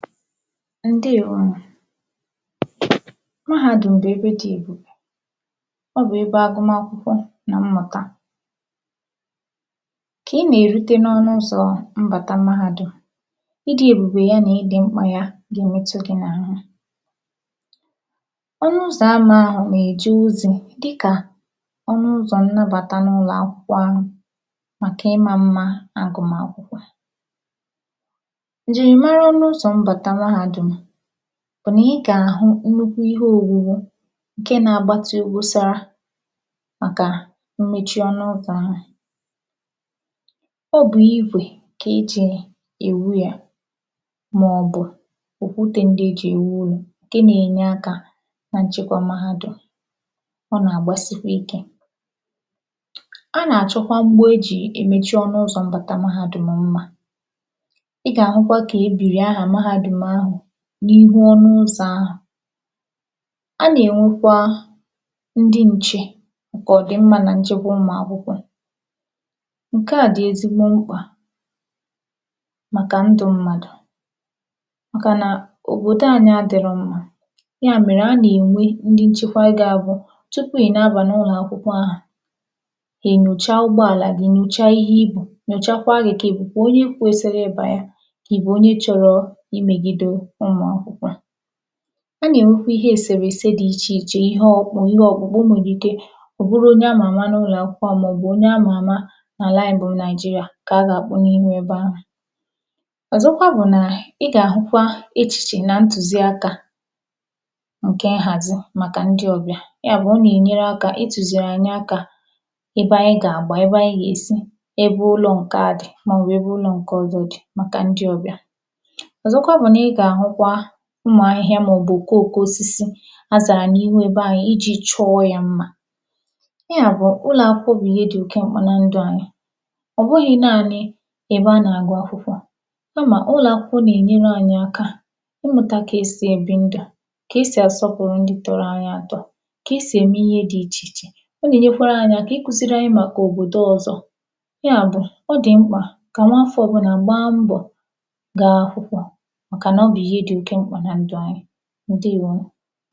Ǹdeèwonù mahādùm bụ̀ ebe dị̄ èbùbè. Ọ bụ̀ ebe agụmakwụkwọ nà mmụ̀ta. Kà ị nà erute n’ọnụụzọ̀ mmụ̀ta mahādùm, ịdị̄ èbùbè ya nà ịdị̄ mkpà ya gà-èmetụ gị̄ n’àhụ. Ọnụụzọ̀ ama ahụ̀ nà-èje ozī dịkà ọnụụzọ̀ nnabàta n’ụlọ̀ akwụkwọ ahụ̀ màkà ịma mma agụm akwụkwọ. Ǹjìrìmara ọnụụzọ̀ mbàta mahādùm bụ̀ nà ị gà àhụ nnukwu ihe owuwu ṅ̀ke na-agbatị obosara màkà mmechi ọnụụzọ ahụ̀. Ọ bụ̀ igwe kà e jì èwu yā màọ̀bụ̀ òkwutē ndị e jì èwu ụlọ̀ ṅ̀ke nā-ēnyē akā na nchekwa mahādùm. Ọ nàgbasikwa ikē. A nà-àchọ mgbo e ji emechi ọnụ ụzọ̀ mbata mahādùm mmā.I>ga-ahụkwa kà e bìrì aha mahādùm ahụ n’ihu ọnụ ụzọ ahụ.Anà-ènwekwa ndị n̄chē màkà ọ̀dị̀mmā nà nchekwa ụmụ akwụkwọ.Ṅ̀ke à dị̀ ezigbo mkpà màkà ndū mmadụ̀ màkà nà òbòdo anyị adịrọ mmā. Ya mèrè a nà ènwe ndị nchekwa gā-ābụ̄ tupu ị̀ na-abà n’ụlọ akwụkwọ ahụ̀ è nyòchaa ụgbọàlà gị nyòchaa ihe ì bù, nyòchakwaa gị̄ kà ị̀ bụ̀kwà onye kwesiri ịbà kaə̀ ị̀ bụ̀ onye chọrọ imegīdē ụmụ̀ akwụkwọ. A nà ènwekwa ihe èsèrèse ḍ ichè ichè ihe ọ̄kpụ̄kpụ̄ ihe ọ̄kpụ̄kpụ̄ e nwèrè ike ọ̀ bụrụ onye a mààma n’ụlọ̀ akwụkwọ ahụ màọ̀bụ̀ onye a mà àma n’àla ānyị̄ bụ Naijiria kà a gà àkpụ n’ihu ebe ahụ̀. Ọ̀zọkwa bụ̀ nà ị gà àhụkwa echìchè nà ntùziakā ṅ̀kè ṅhàzi màkà ndị ọbịà. Ya bụ ọ nà ènyere akā itùzìrì ànyị akā ebe anyị gà àgba ebe anyị gà èsi, ebe ụlọ̄ ṅ̀ke ā dị̀ màọ̀bụ̀ ebe ụlọ̄ ṅ̀ke ọ̄zọ̄ dị̀ màkà ndi ọbịà. Ọ̀zọkwa bụ̀ nà ị gà àhụkwa ụmụ̀ ahịhịa màọbụ òkoòko osisi a sàrà n’ihu ebe ahụ ijī chọọ yā mmā. Ya bụ̀ ụlọ̀ akwụkwọ bụ̀ ihe dị̄ ṅ̀ke ọma na ndụ̄ anyị. ọ̀ bụhị̄ naānị̄ ebe a nà-àgụ akwụkwọ. Kàmà ụlọ akwụkwọ̄ nà-ènyere anyị aka ịmụ̀ta kà e sì èbi ndụ̀, kà e sì àsọpụ̀rụ ndị tọ̄rọ̄ anyị atọ.Kà e sì ème ihe dị̄ ichè ichè. Ọ nà-ènyekwara ānyị̄ aka ikuzīrī anyị màkà òbòdo ọzọ. Ya bụ̀ ọ dị̀ mkpà kà nwaafọ̄ ọbụnà gbaa mbọ̀ gaa akwụkwọ màkà nà ọ bụ̀ ihe dị̄ oke mkpà na ndụ̀ anyị. Ǹdeèwonù.